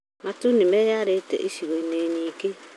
Matu nĩmeyarĩte icigo-inĩ nyingĩ